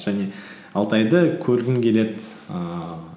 және алтайды көргім келеді ііі